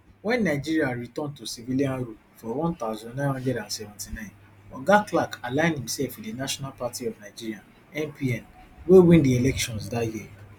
wen nigeria return to civilian rule for one thousand, nine hundred and seventy-nine oga clark align imsef wit di national party of nigeria npn wey win di elections dat year